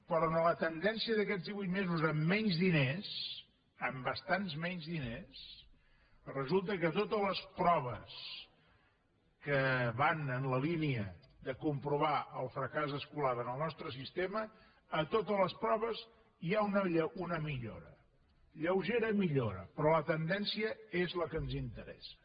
però en la tendència d’aquests divuit mesos amb menys diners amb bastants menys diners resulta que totes les proves que van en la línia de comprovar el fracàs escolar en el nostre sistema a totes les proves hi ha una millora lleugera millora però la tendència és la que ens interessa